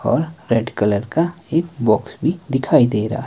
और red colour का एक बॉक्स भी दिखाई दे रहा--